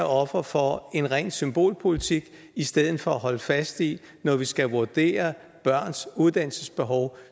offer for en ren symbolpolitik i stedet for at holde fast i at når vi skal vurdere børns uddannelsesbehov